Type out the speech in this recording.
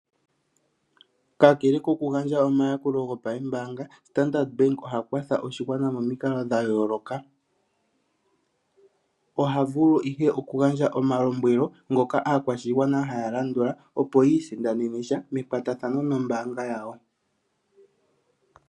Kakele kokugandja omayakulo gopaembaanga, Standard bank oha kwatha oshigwana momikalo dha yooloka. Oha vulu ihe okugandja omalombwelo, ngoka aakwashigwana haya landula, opo yi isindanene sha mekwatathano nombaanga yawo.